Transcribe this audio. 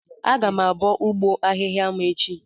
Aga m abọ ụgbọ ahịhịa m echi